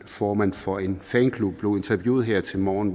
formanden for en fanklub blev interviewet her til morgen